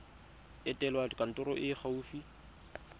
etela kantoro e e gaufi